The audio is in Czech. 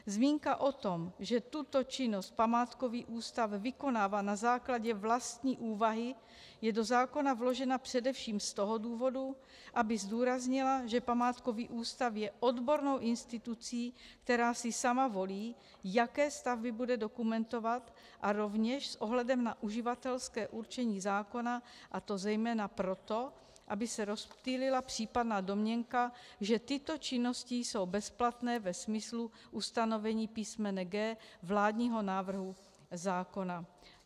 Zmínka o tom, že tuto činnost památkový ústav vykonává na základě vlastní úvahy, je do zákona vložena především z toho důvodu, aby zdůraznila, že památkový ústav je odbornou institucí, která si sama volí, jaké stavby bude dokumentovat, a rovněž s ohledem na uživatelské určení zákona, a to zejména proto, aby se rozptýlila případná domněnka, že tyto činnosti jsou bezplatné ve smyslu ustanovení písmene g) vládního návrhu zákona.